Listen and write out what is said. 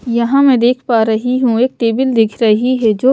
यहाँ मैं देख पा रही हूं एक टेबल दिख रही है जो--